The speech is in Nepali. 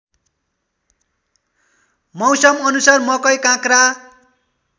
मौसमअनुसार मकै काँक्रा